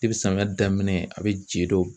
samiyɛ daminɛ a be je dɔ